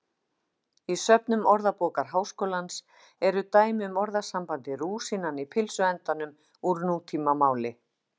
Í söfnum Orðabókar Háskólans eru dæmi um orðasambandið rúsínan í pylsuendanum úr nútímamáli.